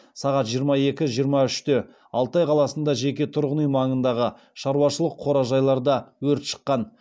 сағат жиырма екі жиырма үште алтай қаласында жеке тұрғын үй маңындағы шаруашылық қора жайларда өрт шыққан